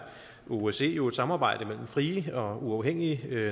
osce jo et samarbejde mellem frie og uafhængige